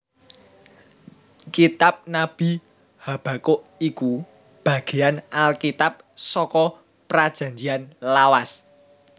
Kitab Nabi Habakuk iku bagéyan Alkitab saka Prajanjian Lawas